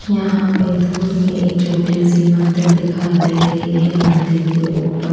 यहाँ पे दुर में एक छोटी सी मंदिर दिखाइ दे रही है मंदिर के ऊपर--